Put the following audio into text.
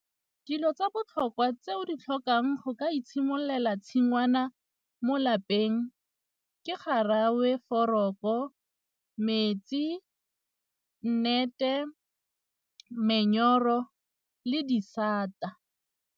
Dilo tsa botlhokwa tse o di tlhokang go ka itshimololela tshingwana mo lapeng ke foroko, metsi, nnete, le disata.